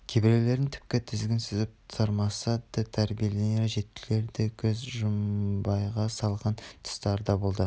кейбіреулерін тіпті тізгін сүзіп тұрмаса да тәрбиеленер жетілер деп көз жұмбайға салған тұстары да болды